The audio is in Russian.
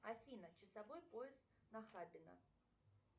афина часовой пояс нахабино